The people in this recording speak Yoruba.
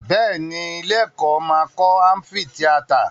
Bẹ́ẹ̀ ni, ilé-ẹ̀kọ́ máa kọ́ ámífìtíátà.